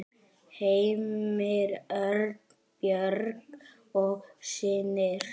Heimir Örn, Björg og synir.